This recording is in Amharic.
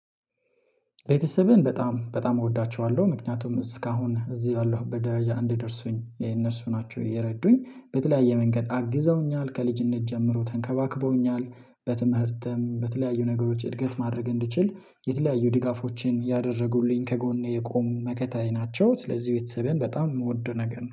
ቤተሰቤን በጣም በጣም እወዳቸዋለሁ ምክንያቱም እስካሁን እዚህ ባለሁ ደረጃ እንደደርሱኝ የእነሱ ናቸው። እየረዱኝ በተለያየ መንገድ አግዘውኛል ከልጅነት ጀምሮ ተንከባክበውኛል። በትምህርትም በተለያዩ ነገሮች እድገት ማድረግ እንድችል የተለያዩ ድጋፎችን ያደረጉልኝ ከጎኔ የቆሙ መከታዬ ናቸው። ስለዚህ ቤተሰቤን በጣም የምወደው ነገር ነው